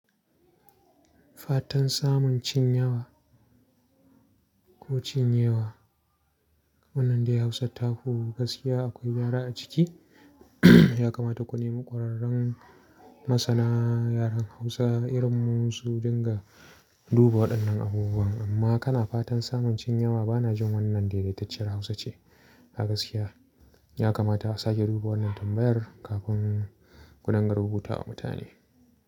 Fatan samun cin yawa ko cin yewa. Wannan dai Hausa taku gaskiya akwai gwara a ciki. Ya kamata ku nemi ƙwararren masana yaren Hausa irin mu su dinga duba waɗannan abubuwan. Amma kana fatan samun cin yawa bana jin wannan daidaitacciyar Hausa ce a gaskiya. Ya kamata a sake duba wannan tambayar kafin ku dinga rubuta wa mutane.